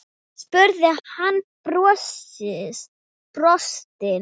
spurði hann og brosti.